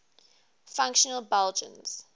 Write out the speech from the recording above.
fictional belgians